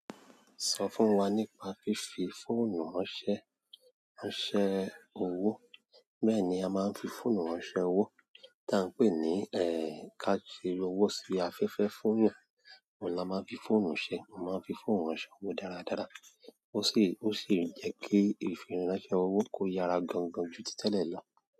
Sọ fún wa nípa fífi fóònù ránṣẹ́, ránṣẹ́ owó. Bẹ́ẹ̀ni a máa ń fi fóònù ránṣẹ́ owó, tí a ń pè ní, ká fi owó sí afẹ́fẹ́ funyan. Òun la máa ń fi fóònù ṣe, mo máa ń fi fóònù ránṣẹ́ owó dáradára. Ó sì, ó sì ń jẹ́ kí ìfiránṣẹ́ owó kó yára gangan ju títẹ̀lẹ̀ lọ.